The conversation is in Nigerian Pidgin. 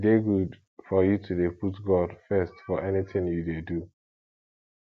e dey good for you to dey put god first for anything you dey do